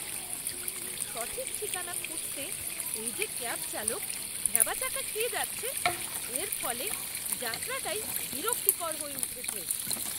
সঠিক ঠিকানা খুঁজতে এই যে ক্যাব চালক ভ্যাবাচ্যাকা খেয়ে যাচ্ছে, এর ফলে যাত্রাটাই বিরক্তিকর হয়ে উঠছে।